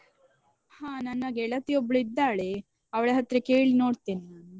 ಹ ನನ್ನ ಗೆಳತಿಯೊಬ್ಳು ಇದ್ದಾಳೆ ಅವ್ಳ ಹತ್ರ ಕೇಳಿ ನೋಡ್ತೇನೆ ನಾನು.